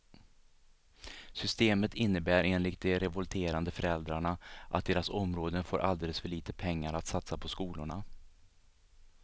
Systemet innebär enligt de revolterande föräldrarna att deras områden får alldeles för lite pengar att satsa på skolorna.